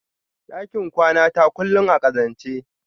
ɗakin kwanata kullum a ƙazance.